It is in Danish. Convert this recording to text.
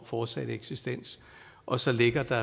fortsatte eksistens og så ligger der